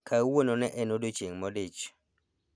Kawuono ne en odiechieng' modich